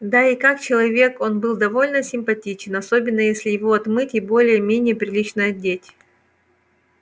да и как человек он был довольно симпатичен особенно если его отмыть и более-менее прилично одеть